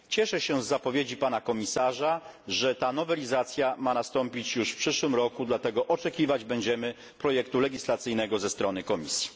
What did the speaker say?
Cieszę się z zapowiedzi Pana Komisarza, że ta nowelizacja ma nastąpić już w przyszłym roku, dlatego oczekiwać będziemy projektu legislacyjnego ze strony Komisji.